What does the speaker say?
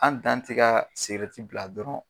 An dan ti ka bila dɔrɔn.